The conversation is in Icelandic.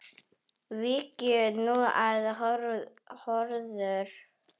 Víkjum nú að öðru.